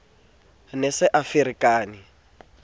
ne a se a ferekane